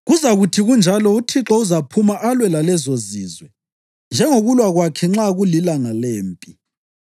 Kuzakuthi kunjalo uThixo uzaphuma alwe lalezozizwe, njengokulwa kwakhe nxa kulilanga lempi.